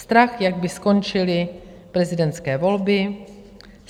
Strach, jak by skončily prezidentské volby.